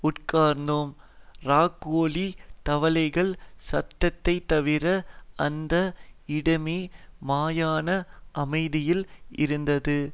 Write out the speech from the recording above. உட்கார்ந்தோம் ராக்கோழி தவளைகள் சத்தத்தைதவிர அந்த இடமே மயான அமைதியில் இருந்தது